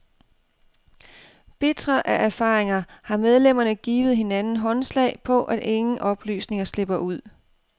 Bitre af erfaringer har medlemmerne givet hinanden håndslag på, at ingen oplysninger slipper ud.